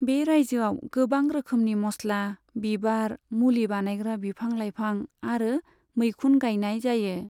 बे रायजोआव गोबां रोखोमनि मस्ला, बिबार, मुलि बानायग्रा बिफां लाइफां आरो मैखुन गायनाय जायो।